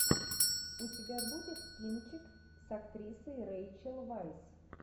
у тебя будет кинчик с актрисой рейчел вайс